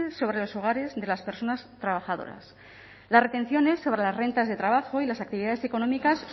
sobre los hogares de las personas trabajadoras las retenciones sobre las rentas de trabajo y las actividades económicas